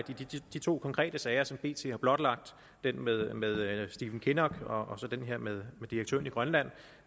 de to konkrete sager som bt har blotlagt den med med stephen kinnock og så den her med direktøren i grønland